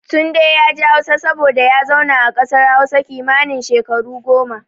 Tunde yaji Hausa saboda ya zauna a kasar Hausa kimanin shekaru goma.